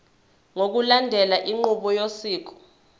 ngokulandela inqubo yosiko